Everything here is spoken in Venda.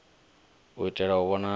u itela u vhona uri